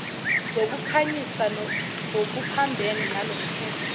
zokukhanyisa ngokuphambene nalomthetho